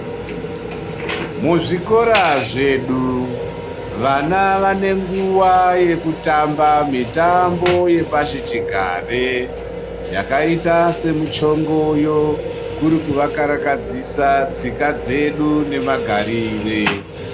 Muzvikora zvedu vana vane nguwa yekutamba mitambo yepasichigare yakaite semuchongoyo kuri kuvakarakadzisa tsika dzedu nemagarire.